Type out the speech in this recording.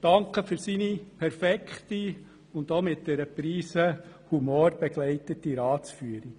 Ich danke für seine perfekte und mit einer Prise Humor begleitete Ratsführung.